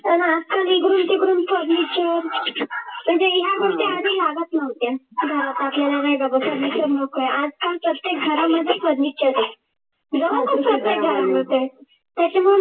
पण आजकाल इकडून तिकडून furniture म्हणजे ह्या गोष्टी आधी लागत नव्हत्या घरात आपल्याला बसायला आजकाल प्रत्येक घरामध्ये furniture